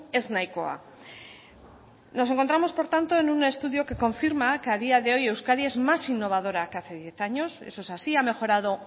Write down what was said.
ez nahikoa nos encontramos por tanto en un estudio que confirma que a día de hoy euskadi es más innovadora que hace diez años eso es así ha mejorado